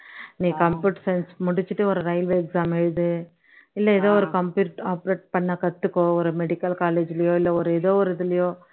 நீ computer science முடிச்சுட்டு ஒரு railway exam எழுது இல்ல ஏதோ ஒரு computer operate பண்ண கத்துக்கோ ஒரு medical college லயோ இல்ல எதொ ஒரு இதுலயோ